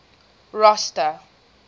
rosta